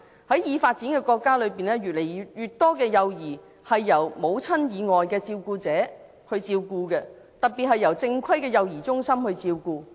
在已發展的國家中，越來越多幼兒由母親以外的照顧者照顧，特別是由正規的幼兒中心照顧。